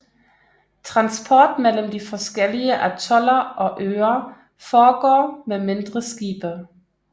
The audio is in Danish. Transport mellem de forskellige atoller og øer foregår med mindre skibe